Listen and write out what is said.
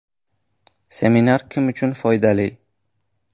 Seminar kim uchun foydali?